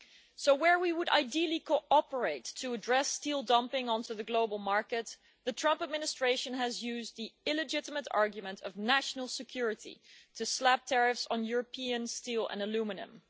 So where we would ideally cooperate to address steel dumping onto the global market, the Trump administration has used the illegitimate argument of national security to slap tariffs on European steel and aluminium.